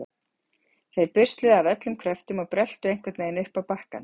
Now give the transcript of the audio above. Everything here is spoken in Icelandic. Þeir busluðu af öllum kröftum og bröltu einhvern veginn upp á bakkann.